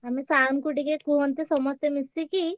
ଆମେ sir ଙ୍କୁ ଟିକେ କୁହନ୍ତେ ସମସ୍ତେ ମିଶିକି।